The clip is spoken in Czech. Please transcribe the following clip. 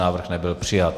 Návrh nebyl přijat.